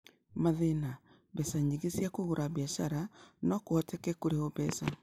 Mathĩna: Mbeca nyingĩ cia kũgũra biacara, no kũhoteke kũrĩhwo mbeca